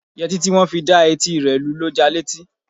Yẹtí tí wọn fi dá etí rẹ lu ló ja létí.